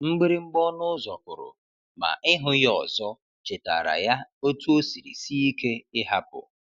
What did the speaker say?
Mgbịrịmgba ọnụ ụzọ kụrụ, ma ịhụ ya ọzọ chetaara ya otú o siri sie ike ịhapụ.